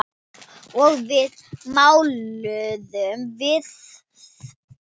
Og svo máluðum við.